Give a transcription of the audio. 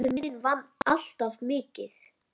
Pabbi minn vann alltaf mikið.